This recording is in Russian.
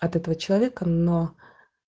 от этого человека но